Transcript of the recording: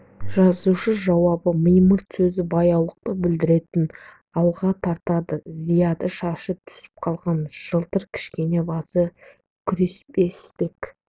жазушы жауабы мимырт сөзі баяулықты білдіретінін алға тартады зияда шашы түсіп қалған жалтыр кішкене басты күресбек